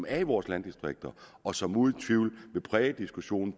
er i vores landdistrikter og som uden tvivl vil præge diskussionen